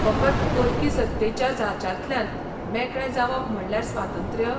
फकत परकी सत्तेच्या जाचांतल्यान मेकळे जावप म्हणल्यार स्वातंत्र्य?